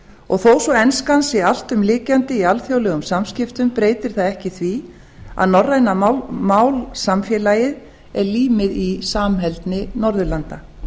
og þó svo að enska sé alltumlykjandi í alþjóðlegum samskiptum breytir það ekki því að norræna málsamfélagið er límið í samheldni norðurlanda